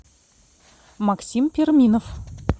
максим перминов